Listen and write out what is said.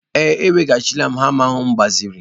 Ee, eweghachila m hama m gbaziri.